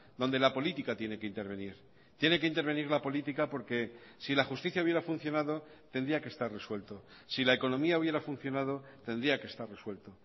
donde la política tiene que intervenir tiene que intervenir la política porque si la justicia hubiera funcionado tendría que estar resuelto si la economía hubiera funcionado tendría que estar resuelto